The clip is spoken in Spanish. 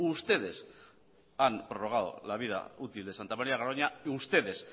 ustedes han prorrogado la vida útil de santa maría de garoña ustedes